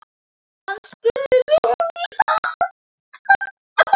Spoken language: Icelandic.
Hann spurði Lúlla.